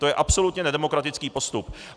To je absolutně nedemokratický postup.